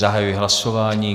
Zahajuji hlasování.